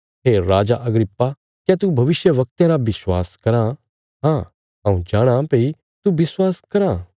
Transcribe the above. हे राजा अग्रिप्पा क्या तू भविष्यवक्तयां रा विश्वास कराँ हाँ हऊँ जाणाँ भई तू विश्वास कराँ